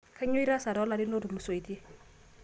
Kainyoo itaas too larin ootulusoitie?